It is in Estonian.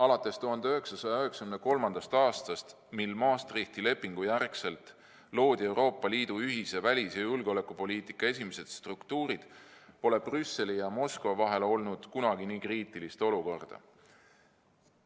Alates 1993. aastast, kui Maastrichti lepingu järgselt loodi Euroopa Liidu ühise välis- ja julgeolekupoliitika esimesed struktuurid, pole Brüsseli ja Moskva vahel olnud kunagi nii kriitilist olukorda.